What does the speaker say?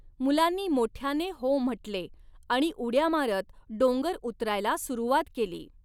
मुलांनी मोठयाने हो म्हटले आणि उडया मारत डोंगर उतरायला सुरूवात केली.